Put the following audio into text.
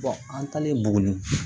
an talen buguni